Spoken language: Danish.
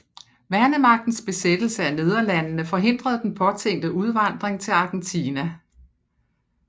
Værnemagtens besættelse af Nederlandene forhindrede den påtænkte udvandring til Argentina